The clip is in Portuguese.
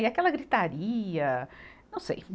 E aquela gritaria, não sei.